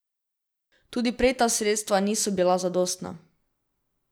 Tudi prej ta sredstva niso bila zadostna.